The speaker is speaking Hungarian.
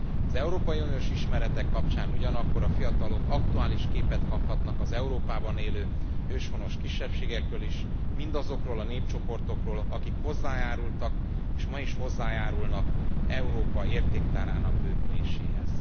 Az európai uniós ismeretek kapcsán ugyanakkor a fiatalok aktuális képet kaphatnak az Európában élő őshonos kisebbségekről is mindazokról a népcsoportokról, akik hozzájárultak és ma is hozzájárulnak Európa értéktárának bővüléséhez.